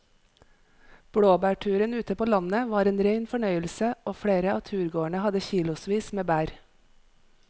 Blåbærturen ute på landet var en rein fornøyelse og flere av turgåerene hadde kilosvis med bær.